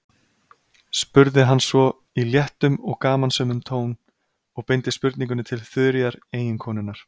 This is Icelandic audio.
spurði hann svo, í léttum og gamansömum tón, og beindi spurningunni til Þuríðar, eiginkonunnar.